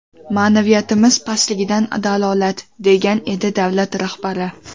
Ma’naviyatimiz pastligidan dalolat!”, degan edi davlat rahbari.